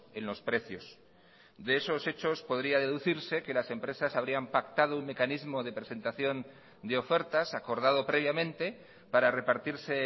en los precios de esos hechos podría deducirse que las empresas habrían pactado un mecanismo de presentación de ofertas acordado previamente para repartirse